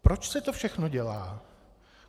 Proč se to všechno dělá?